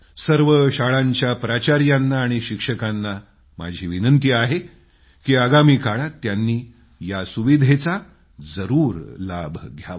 सर्व शाळांच्या प्राचार्यांना आणि शिक्षकांना माझा आग्रह आहे की आगामी काळात त्यांनी या सुविधेचा जरूर लाभ घ्यावा